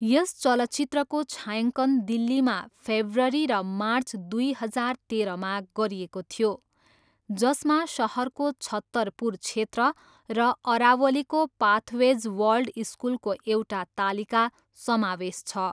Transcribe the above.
यस चलचित्रको छायाङ्कन दिल्लीमा फेब्रुअरी र मार्च दुई हजार तेह्रमा गरिएको थियो, जसमा सहरको छत्तरपुर क्षेत्र र अरावलीको पाथवेज वर्ल्ड स्कुलको एउटा तालिका समावेश छ।